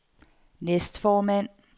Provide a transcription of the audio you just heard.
næstformand